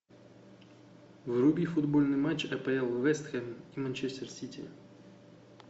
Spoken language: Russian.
вруби футбольный матч апл вест хэм и манчестер сити